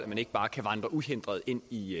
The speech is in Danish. man ikke bare kan vandre uhindret ind i